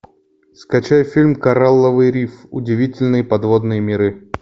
скачай фильм коралловый риф удивительные подводные миры